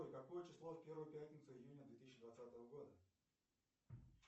какое число в первую пятницу июня две тысячи двадцатого года